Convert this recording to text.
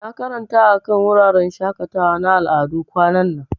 Na karanta akan wuraren shakatawa na al'adu kwanan nan.